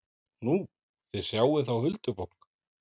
Nú, þið sjáið þá huldufólk?